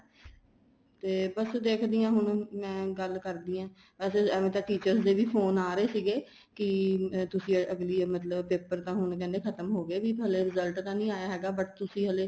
ਤੇ ਬੱਸ ਦੇਖਦੀ ਹਾਂ ਹੁਣ ਮੈਂ ਗੱਲ ਕਰਦੀ ਹਾਂ ਐਵੇਂ ਤਾਂ teachers ਦੇ ਵੀ ਫੋਨ ਆ ਰਹੇ ਸੀਗੇ ਕੀ ਤੁਸੀਂ ਅੱਗਲੀ ਮਤਲਬ paper ਤਾਂ ਹੁਣ ਕਹਿੰਦੇ ਖ਼ਤਮ ਹੋ ਗਏ ਵੀ ਹਲੇ result ਤਾਂ ਨਹੀਂ ਆਇਆ ਹੈਗਾ ਬਹੁਤ ਤੁਸੀਂ ਹਲੇ